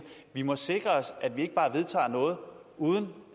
vi må sikre os at vi ikke bare vedtager noget uden